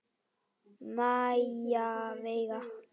Maja Veiga.